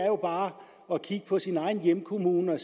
jo bare kigge på sin egen hjemkommune og